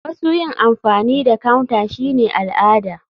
Wasu yin amfani da counter shine al'ada.